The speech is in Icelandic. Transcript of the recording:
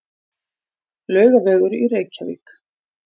Laugavegur í Reykjavík.